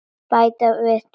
Bara við tvö?